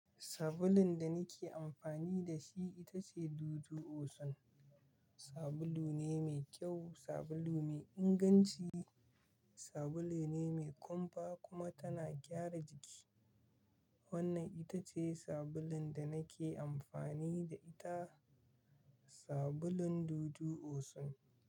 Sabulun da nake amfani da shi ita ce Dudu Osun. Sabulu ne mai kyau, sabulu mai inganci, sabulu ne mai kumfa kuma tana gyara jiki. Wannan ita ce sabulun da nake amfani da ita. Sabulun Dudu Osun.